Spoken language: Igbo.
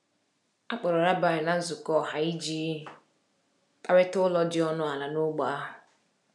A kpọrọ rabbi na nzukọ ọha iji kparịta ụlọ dị ọnụ ala n’ógbè ahụ.